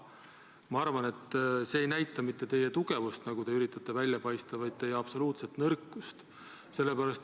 Ma arvan, et see ei näita mitte teie tugevust, nagu te üritate muljet jätta, vaid teie absoluutset nõrkust.